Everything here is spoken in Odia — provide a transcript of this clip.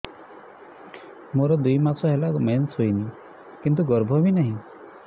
ମୋର ଦୁଇ ମାସ ହେଲା ମେନ୍ସ ହେଇନି କିନ୍ତୁ ଗର୍ଭ ବି ନାହିଁ